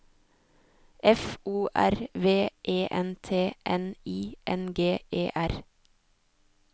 F O R V E N T N I N G E R